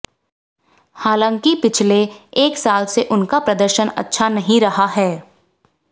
हालांकि पिछले एक साल से उनका प्रदर्शन अच्छा नहीं रहा है